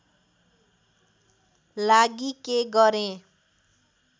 लागि के गरेँ